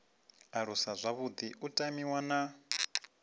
aluswa zwavhuḓi u tamiwa na